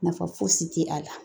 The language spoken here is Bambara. Nafa fosi ti a la